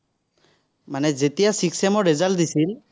মানে যেতিয়া six sem ৰ result দিছিল